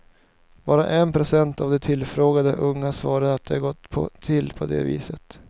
Bara en procent av de tillfrågade unga svarade att det gått till på det viset.